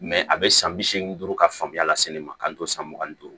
Mɛ a bɛ san bi seegin duuru ka faamuya la se ne ma k'an to san mugan ni duuru